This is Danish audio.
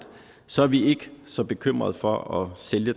så er vi ikke så bekymrede for at sælge